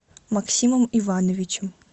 максимом ивановичем